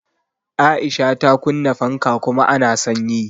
Aisha ta Kunna fanka kuma a na sanyi.